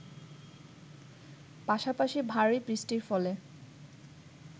পাশাপাশি ভারী বৃষ্টির ফলে